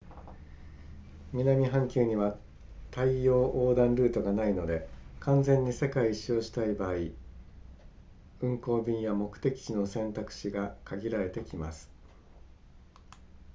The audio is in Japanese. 南半球には大洋横断ルートがないので完全に世界一周をしたい場合運航便や目的地の選択肢が限られてきます